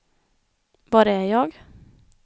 var är jag